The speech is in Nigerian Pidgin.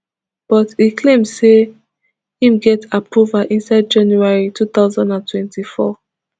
but e claim say im get approval inside january two thousand and twenty-four